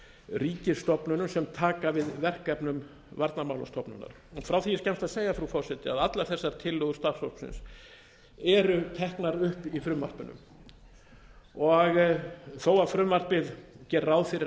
ríkisstofnunum sem taka við verkefnum varnarmálastofnunar frá því er skemmst að segja frú forseti að allar þessar tillögur starfshópsins eru teknar upp í frumvarpinu og þó að frumvarpið geri ráð fyrir